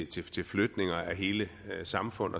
til flytninger af hele samfund